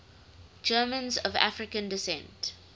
germans of african descent